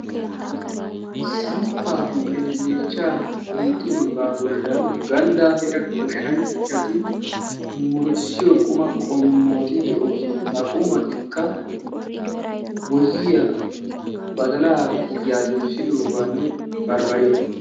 samppa huuphiyaan yeechcha hixidooga bollan ganddaa heeran goshshanchchati murutissido qumati qommoti de'oosona; ha qumatikka boyyiyaa, badala tiya doyssidooganne baribariya.